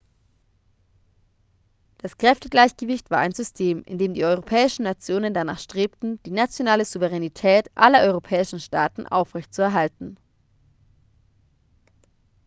das kräftegleichgewicht war ein system in dem die europäischen nationen danach strebten die nationale souveränität aller europäischen staaten aufrechtzuerhalten